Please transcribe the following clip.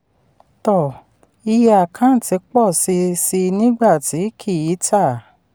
um iye àkántì pọ̀ sí sí i nígbà tí kì í ta.